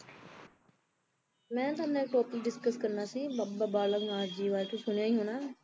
ਮੈਂ ਨਾ ਤੁਹਾਡੇ ਨਾਲ ਇੱਕ topic discuss ਕਰਨਾ ਸੀ ਬਾਬਾ ਬਾਲਕ ਨਾਥ ਜੀ ਬਾਰੇ ਤੁਸੀ ਸੁਣਿਆ ਹੀ ਹੋਣਾ